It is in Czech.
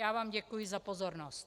Já vám děkuji za pozornost.